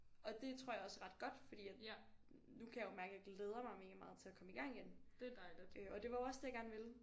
Og det tror jeg også er ret godt fordi at nu kan jo mærke jeg glæder mig mega meget til at komme i gang igen øh og det var jo også det jeg gerne ville